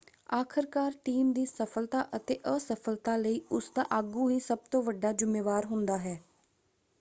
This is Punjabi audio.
ਆਖਰਕਾਰ ਟੀਮ ਦੀ ਸਫਲਤਾ ਅਤੇ ਅਸਫਲਤਾ ਲਈ ਉਸਦਾ ਆਗੂ ਹੀ ਸਭ ਤੋਂ ਵੱਡਾ ਜ਼ੁੰਮੇਵਾਰ ਹੁੰਦਾ ਹੈ।